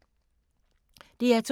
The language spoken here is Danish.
DR2